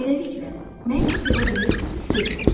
Beləliklə, nəyisə sevə bilirsizsə, sevin.